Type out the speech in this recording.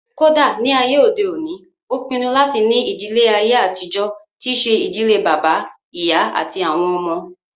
Kódà ní àyè òde òní, ó pinnu láti ní ìdílé àyè àtijọ́ tí ṣe ìdílé bàbá, ìyá àti àwọn ọmọ